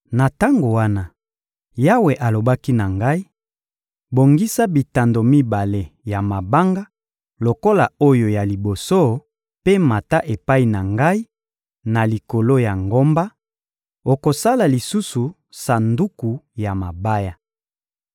Na tango wana, Yawe alobaki na ngai: «Bongisa bitando mibale ya mabanga lokola oyo ya liboso mpe mata epai na ngai na likolo ya ngomba; okosala lisusu sanduku ya mabaya.